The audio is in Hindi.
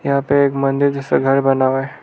यहां पे एक मंदिर जैसा घर बना हुआ है।